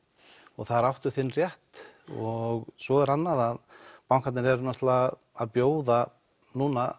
og þar áttu þinn rétt og svo er annað að bankarnir eru að bjóða núna